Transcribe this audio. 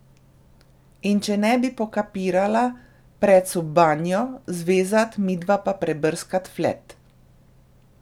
In če ne bi pokapirala, prec v banjo, zvezat, midva pa prebrskat flet.